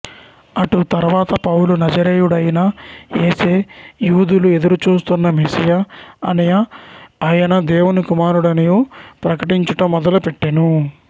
అటు తర్వాత పౌలు నజరేయుడైన యేసే యూదులు ఎదురుచూస్తున్న మెస్సీయా అనియు ఆయన దేవుని కుమారుడనియు ప్రకటించుట మొదలు పెట్టెను